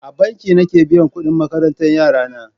A banki nake biyan kudin makarantan yarana.